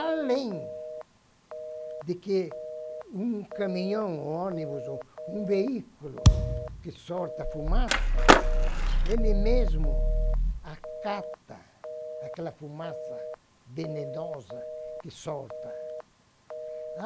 Além de que um caminhão, ônibus, ou um veículo que sorta fumaça, ele mesmo acata aquela fumaça venenosa que solta.